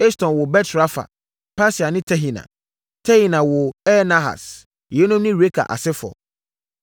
Eston woo Bet-Rafa, Paseah ne Tehina. Tehina woo Ir-Nahas. Yeinom ne Reka asefoɔ.